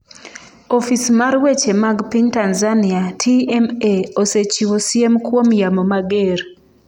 Ofis mar weche mag piny Tanzania (TMA) osechiwo siem kuom yamo mager.